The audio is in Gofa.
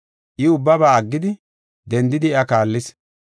I ubbaba aggidi, dendidi iya kaallis.